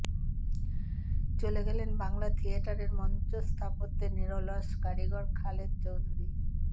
চলে গেলেন বাংলা থিয়েটারের মঞ্চস্থাপত্যের নিরলস কারিগর খালেদ চৌধুরি